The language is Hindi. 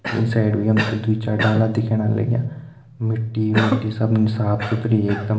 ई साईड भी हम तैं दुई चार डालान दिखेणा लग्यां मिट्टी मुट्टी सब साफ़ सुथरी एकदम।